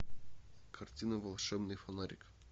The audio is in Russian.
картина волшебный фонарик